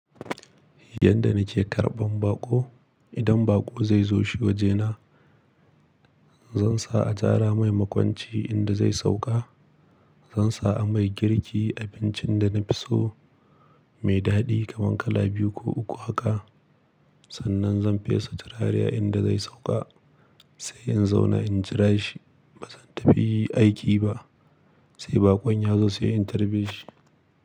Yanda nake karɓan baƙo, idan baƙo zai zo shi wajena, zan sa a tsara mai makwanci inda zai sauƙa. Zan sa a mai girki abincin da na fi so mai daɗi kaman kala biyu ko uku haka. Sannan zan fesa turare inda zai sauƙa sai in zauna in jira shi. Ba zan tafi aiki ba sai baƙon ya zo sai in tarbe shi.